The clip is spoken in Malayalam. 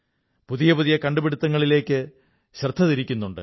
പുതിയ പുതിയ കണ്ടുപിടുത്തുങ്ങളിലേക്ക് ശൃദ്ധ തിരിക്കുന്നുണ്ട്